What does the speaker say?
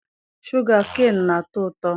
Shụga keenị na-atọ ụtọ.